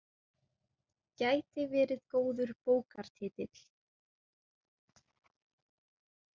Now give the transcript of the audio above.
Gæti verið góður bókartitill.